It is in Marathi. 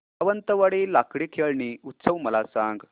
सावंतवाडी लाकडी खेळणी उत्सव मला सांग